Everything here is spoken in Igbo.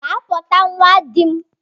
Gaa kpọta nwa dim!